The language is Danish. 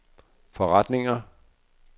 forretninger